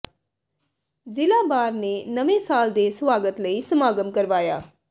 ਜ਼ਿਲ੍ਹਾ ਬਾਰ ਨੇ ਨਵੇਂ ਸਾਲ ਦੇ ਸਵਾਗਤ ਲਈ ਸਮਾਗਮ ਕਰਵਾਇਆ